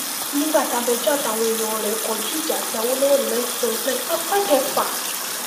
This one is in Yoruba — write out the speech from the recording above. nígbà tabẹ́jọ́ àtàwọn èèyàn rẹ̀ kọjú ìjà sí àwòlọ́wọ́ ní nineteen seventy nine apá kẹfà